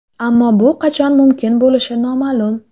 Ammo bu qachon mumkin bo‘lishi noma’lum.